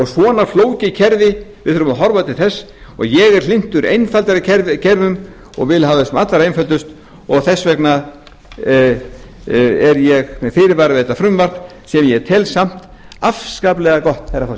svona flókið kerfi við þurfum að horfa til þess og ég er hlynntur einfaldari kerfum og vil hafa þau sem allra einföldust og þess vegna er ég með fyrirvara við þetta frumvarp sem ég tel samt afskaplega gott herra